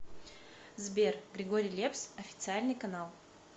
сбер григорий лепс официальный канал